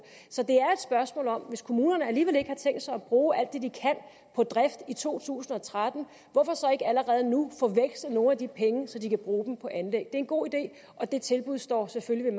så det er spørgsmål om at hvis kommunerne alligevel ikke har tænkt sig at bruge alt det de kan på drift i to tusind og tretten hvorfor så ikke allerede nu få vekslet nogle af de penge så de kan bruge dem på anlæg det er en god idé og det tilbud står selvfølgelig